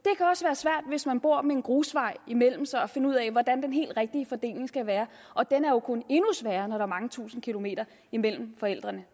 svært hvis man bor med en grusvej imellem sig at finde ud af hvordan den helt rigtige fordeling skal være den er jo kun endnu sværere når der er mange tusinde kilometer imellem forældrene